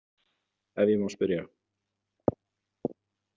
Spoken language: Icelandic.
Ef ég má spyrja?